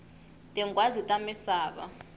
tinghwazi ta misava